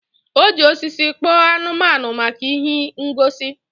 O ji osisi kpoo anumanu maka ihe ngosi